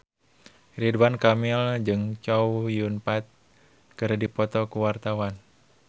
Ridwan Kamil jeung Chow Yun Fat keur dipoto ku wartawan